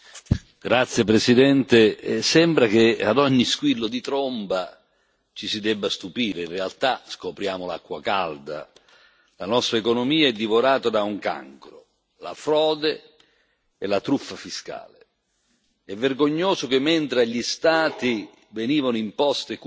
Signora Presidente, onorevoli colleghi, sembra che ad ogni squillo di tromba ci si debba stupire, in realtà scopriamo l'acqua calda. La nostra economia è divorata da un cancro la frode e la truffa fiscale. È vergognoso che, mentre agli Stati